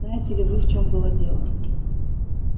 знаете ли вы в чём было дело